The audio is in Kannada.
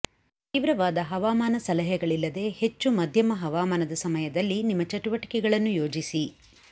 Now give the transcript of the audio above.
ತೀವ್ರವಾದ ಹವಾಮಾನ ಸಲಹೆಗಳಿಲ್ಲದೆ ಹೆಚ್ಚು ಮಧ್ಯಮ ಹವಾಮಾನದ ಸಮಯದಲ್ಲಿ ನಿಮ್ಮ ಚಟುವಟಿಕೆಗಳನ್ನು ಯೋಜಿಸಿ